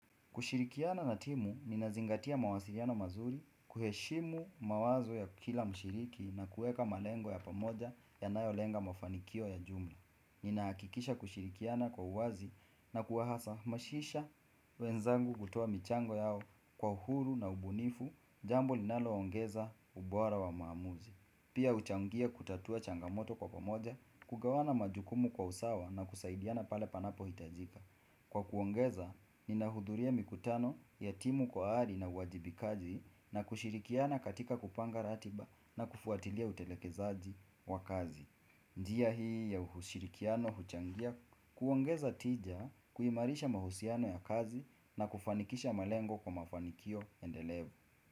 Kushirikiana na timu, ninazingatia mawasiliano mazuri, kuheshimu mawazo ya kila mshiriki kueka malengo ya pamoja yanayolenga mafanikio ya jumla. Ninahakikisha kushirikiana kwa uwazi na kuhasamasisha wenzangu kutoa michango yao kwa uhuru na ubunifu, jambo linalo ongeza ubora wa maamuzi. Pia huchangia kutatua changamoto kwa pamoja, kugawana majukumu kwa usawa na kusaidiana pale panapohitajika. Kwa kuongeza, ninahudhuria mikutano ya timu kwa ari na uwajibikaji na kushirikiana katika kupanga ratiba na kufuatilia utelekezaji wa kazi. Njia hii ya ushirikiano, huchangia, kuongeza tija, kuimarisha mahusiano ya kazi na kufanikisha malengo kwa mafanikio endelevu.